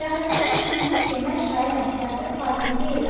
Fəxrəddinin özü bilir ki, mən şairəm, siyasət xadimi deyiləm.